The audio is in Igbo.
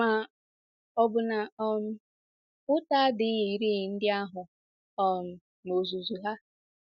Ma, ọ̀ bụ na um ụta adịghịri ndị ahụ um n’ozuzu ha?